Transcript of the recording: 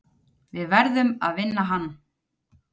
Við verðum að vinna hann.